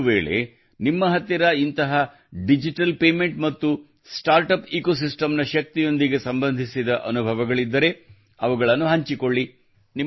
ಒಂದು ವೇಳೆ ನಿಮ್ಮ ಹತ್ತಿರ ಇಂತಹ ಡಿಜಿಟಲ್ ಪೇಮೆಂಟ್ ಮತ್ತು ಸ್ಟಾರ್ಟಪ್ ಎಕೊಸಿಸ್ಟಮ್ ನ ಶಕ್ತಿಯೊಂದಿಗೆ ಸಂಬಂಧಿಸಿದ ಅನುಭವಗಳಿದ್ದರೆ ಅವುಗಳನ್ನು ಹಂಚಿಕೊಳ್ಳಿ